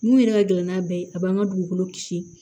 Mun yɛrɛ ka gɛlɛn n'a bɛɛ ye a b'an ka dugukolo kisi